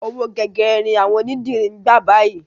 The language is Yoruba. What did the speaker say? Owó gegere ni àwọn onídìrí ń gbà báyìí.